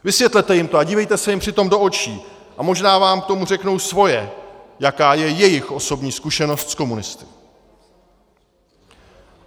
Vysvětlete jim to a dívejte se jim přitom do očí a možná vám k tomu řeknou svoje, jaká je jejich osobní zkušenost s komunisty.